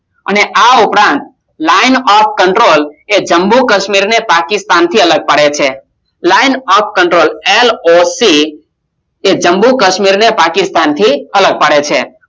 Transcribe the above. અને આ ઉપરાંત lion of control એ જમ્મુ કાશ્મીર ને પાકિસ્તાન થી અલગ પાસે છે lion of controller એ જમ્મુ કાશ્મીર ને પાકિસ્તાન થી અલગ પડે છે